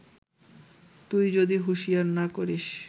তুই যদি হুঁশিয়ার না করিস